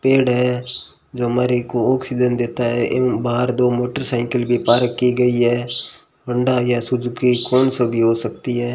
पेड़ है जो हमारे को ऑक्सीजन देता है इन बाहर दो मोटरसाइकिल भी पार्क की गयी है होंडा या सुजुकी कौन सो भी हो सकती है।